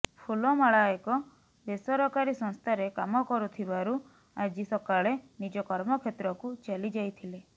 ଫୁଲମାଳା ଏକ ବେସରକାରୀ ସଂସ୍ଥାରେ କାମ କରୁଥିବାରୁ ଆଜି ସକାଳେ ନିଜ କର୍ମକ୍ଷେତ୍ରକୁ ଚାଲି ଯାଇଥିଲେ